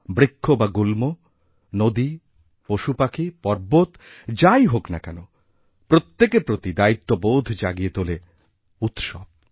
বৃক্ষবা গুল্ম নদী পশুপাখি পর্বত যাই হোক না কেন প্রত্যেকের প্রতি দায়িত্ববোধজাগিয়ে তোলে উৎসব